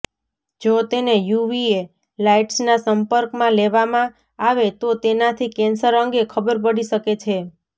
જો તેને યુવીએ લાઇટ્સના સંપર્કમાં લેવામાં આવે તો તેનાથી કેન્સર અંગે ખબર પડી શકે છે